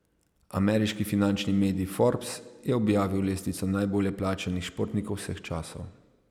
Ameriški finančni medij Forbes je objavil lestvico najbolje plačanih športnikov vseh časov.